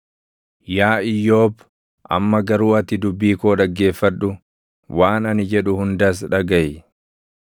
“Yaa Iyyoob amma garuu ati dubbii koo dhaggeeffadhu; waan ani jedhu hundas dhagaʼi.